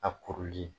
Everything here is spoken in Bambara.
A kuruli